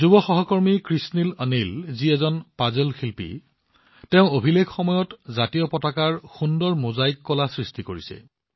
যুৱ সহকৰ্মী কৃষনীল অনিল জীৰ দৰে অনিল জী এজন পাজল শিল্পী আৰু তেওঁ অভিলেখ সময়ত সুন্দৰ ত্ৰিৰংগাৰ মোজাইক কলা সৃষ্টি কৰিছে